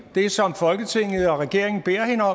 det som folketinget og regeringen har